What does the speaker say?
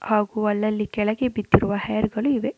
ಹಾಗು ಅಲ್ಲಲ್ಲಿ ಕೆಳಗೆ ಬಿದ್ದಿರುವ ಹೇರ್ ಗಳು ಇವೆ.